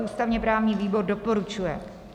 Ústavně-právní výbor doporučuje.